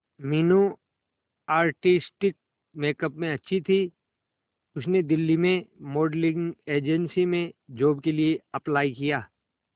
Meenu artistic makeup में अच्छी थी उसने दिल्ली में मॉडलिंग एजेंसी में जॉब के लिए अप्लाई किया